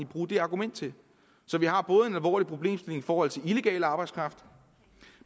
bruge det argument til så vi har både en alvorlig problemstilling i forhold til illegal arbejdskraft